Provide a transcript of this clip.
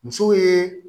Muso ye